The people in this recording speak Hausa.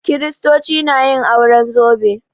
Kiristoci na yin auren zobe